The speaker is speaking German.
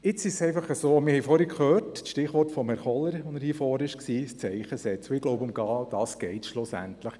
Wir haben vorhin gehört, dass das Stichwort von Grossrat Kohler «ein Zeichen setzen» war, und genau darum geht es schliesslich.